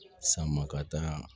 San maka